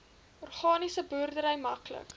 organiese boerdery maklik